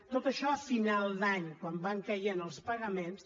tot això a final d’any quan van caient els pagaments